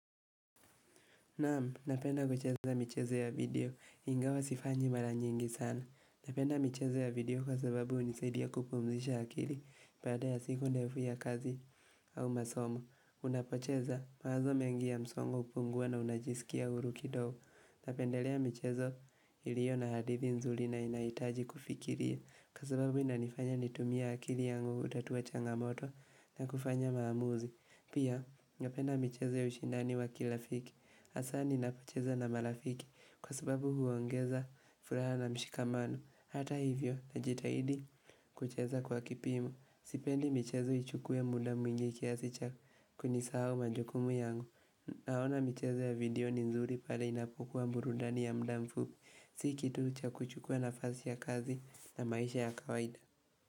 Naam, napenda kucheza michezo ya video. Ingawa sifanyi mara nyingi sana. Napenda michezo ya video kwa sababu hunisaidia kupumzisha akili baada ya siku ndefu ya kazi au masomo. Unapocheza, mawazo mengi ya msongo hupungua na unajisikia huru kidogo. Napendelea michezo iliyo na hadithi nzuri na inahitaji kufikiria. Kwa sababu inanifanya nitumia akili yangu kutatua changamoto na kufanya maamuzi. Pia, napenda michezo ya ushindani wa kirafiki hasa ninapocheza na marafiki Kwa sababu huongeza furaha na mshikamano Hata hivyo, najitahidi kucheza kwa kipimo sipendi michezo ichukuwe muda mwingi kiasi cha kunisahau majukumu yangu Naona michezo ya video ni nzuri pale inapokua burudani ya muda mfupi Si kitu cha kuchukua nafasi ya kazi na maisha ya kawaida.